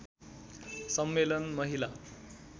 सम्मेलन महिला